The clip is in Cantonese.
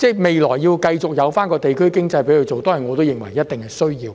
未來，讓其繼續在該處營運，推動地區經濟，我認為一定是需要的。